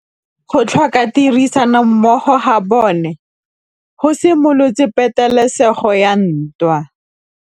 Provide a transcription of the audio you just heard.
Go tlhoka tirsanommogo ga bone go simolotse patêlêsêgô ya ntwa.